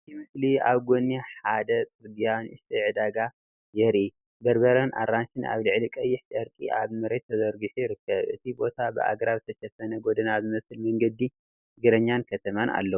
እቲ ምስሊ ኣብ ጎኒ ሓደ ጽርግያ ንእሽቶ ዕዳጋ የርኢ። በርበረን ኣራንሺን ኣብ ልዕሊ ቀይሕ ጨርቂ ኣብ መሬት ተዘርጊሑ ይርከብ። እቲ ቦታ ብኣግራብ ዝተሸፈነ ጎደና ዝመስል መንገዲ እግረኛን ከተማን ኣለዎ።